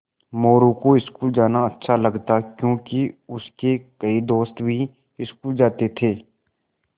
मोरू को स्कूल जाना अच्छा लगता क्योंकि उसके कई दोस्त भी स्कूल जाते थे